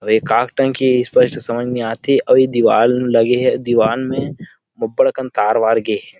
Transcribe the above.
अऊ ए काक टंकी स्पस्ट समझ में आथे अऊ दिवाल लगे हे अऊ दिवाल में अबबड़ अकन तार वार गे हे।